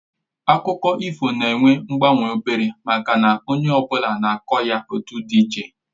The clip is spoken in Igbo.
Akụkọ ifo na-enwe mgbanwe obere maka na onye ọ bụla na-akọ ya etu dị iche